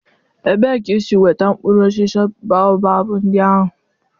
Ebee ka isi nweta mkpụrụ osisi Baobab ndị ahụ?